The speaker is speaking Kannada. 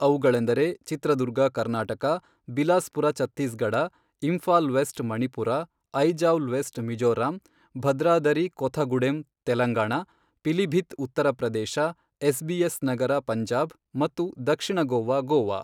ಅವುಗಳೆಂದರೆ Chitradurga Karnataka, Bilaspur Chhattisgarh, Imphal west Manipur, Aizawl west Mizoram, Bhadradri Kothagudem Telangana, Pilibhit Uttar Pradesh, SBS Nagar Punjab ಮತ್ತು ದಕ್ಷಿಣ ಗೋವಾ ಗೋವಾ.